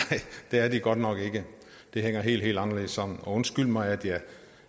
det er de godt nok ikke det hænger helt anderledes sammen og undskyld mig